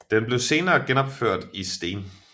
Den blev senere genopført i sten